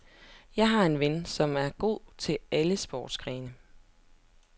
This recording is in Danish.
Jeg har en ven, som er god til alle sportsgrene.